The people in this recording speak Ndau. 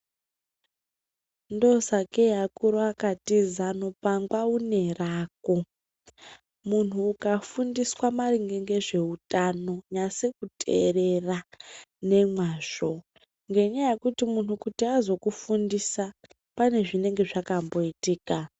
Ndosakei akuru akati zano pangwa une rako, munhu ukafundiswa maringe ngezveutano nyase kuteerera nemwazvo ngenyaya yekuti munhu kuti azokufundisa pane zvinenge zvakamboitika.